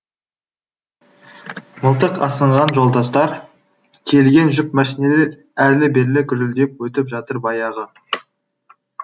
мылтық асынған жолдастар тиелген жүк мәшинелер әрлі берлі гүрілдеп өтіп жатыр баяғы